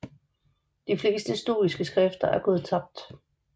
De fleste stoiske skrifter er gået tabt